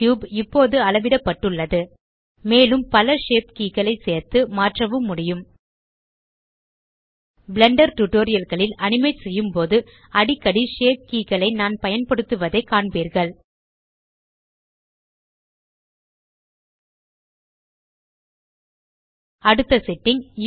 cube இப்போது அளவிடப்பட்டுள்ளது மேலும் பல ஷேப் கே களை சேர்த்து மாற்றவும் முடியும் பிளெண்டர் tutorialகளில் அனிமேட் செய்யும்போது அடிக்கடி ஷேப் கே களை நான் பயன்படுத்துவதைக் காண்பீர்கள் அடுத்த செட்டிங்